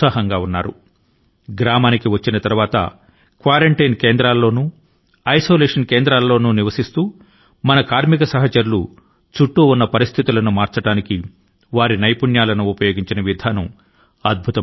కార్మికులు స్వగ్రామాల కు తిరిగి వచ్చిన తరువాత క్వారన్టీన్ సెంటర్ లో గడిపినప్పుడు చుట్టూ ఉన్న పరిస్థితుల ను మార్చడానికి వారి నైపుణ్యాల ను ఉపయోగించిన విధానం అద్భుతం